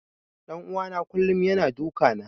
Ɗan uwana kullum yana duka na.